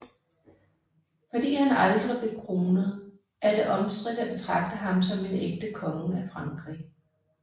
Fordi han aldrig blev kronet er det omstridt at betragte ham som en ægte konge af Frankrig